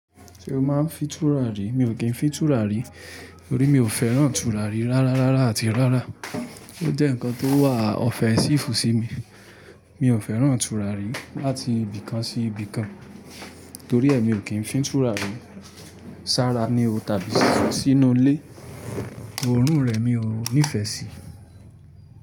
Ṣé o máa ń fi tùràrí? Mi ò kí ń fi tùràrí torí mi ò fẹ́ràn tùràrí rárárárára àti rárá. Ó jẹ́ nǹkan tó wà ọ̀fẹ́ sífù sí mi. Mi ò fẹ́ràn tùràrí láti ibìkan sí ibìkan, torí ẹ mi ò kí ń fi tùràrí. Sára ni o tàbí sínú ilé, òórùn rẹ̀ mi ò nífẹ̀ẹ́ sí.